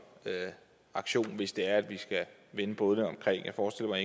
aktion hvis det er at vi skal vende bådene om jeg forestiller